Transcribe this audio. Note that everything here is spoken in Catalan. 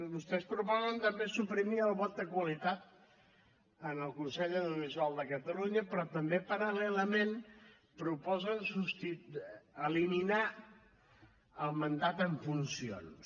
vostès proposen també suprimir el vot de qualitat en el consell de l’audiovisual de catalunya però també paral·lelament proposen eliminar el mandat en funcions